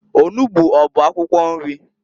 Onugbu ọ bụ akwụkwọ nri?